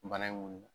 Bana in wuli